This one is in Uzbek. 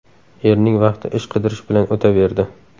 Erning vaqti ish qidirish bilan o‘taverdi.